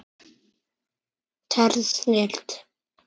Tær snilld.